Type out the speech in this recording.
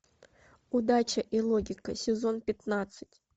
удача и логика сезон пятнадцать